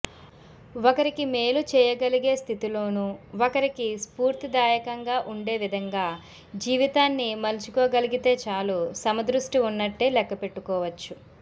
ఒకరికి మేలు చేయగలిగే స్థితిలోను ఒకరికి స్ఫూర్తిదాయకంగా ఉండేవిధంగా జీవితాన్ని మలుచుకోగలిగితే చాలుసమదృష్టి ఉన్నట్టే లెక్కపెట్టుకోవచ్చు